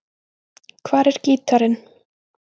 Hvar er gítarinn?